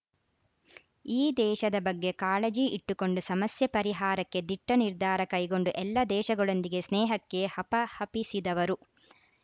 ಈ ದೇಶದ ಬಗ್ಗೆ ಕಾಳಜಿ ಇಟ್ಟುಕೊಂಡು ಸಮಸ್ಯೆ ಪರಿಹಾರಕ್ಕೆ ದಿಟ್ಟನಿರ್ಧಾರ ಕೈಗೊಂಡು ಎಲ್ಲ ದೇಶಗಳೊಂದಿಗೆ ಸ್ನೇಹಕ್ಕೆ ಹಪಹಪಿಸಿದವರು